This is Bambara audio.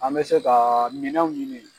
An bɛ se kaa minɛnw ɲini